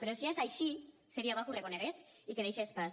però si és així seria bo que ho reconegués i que deixés pas